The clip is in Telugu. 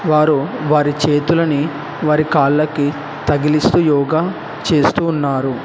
వారు వారి చేతులని వారి కాళ్ళకి తగిలిస్తూ యోగా చేస్తూ ఉన్నారు.